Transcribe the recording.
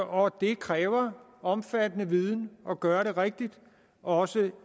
og det kræver omfattende viden at gøre det rigtigt også